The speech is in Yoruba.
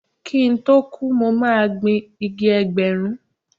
Kí n tó kú, mo máa gbin igi Ẹgbẹ̀rún.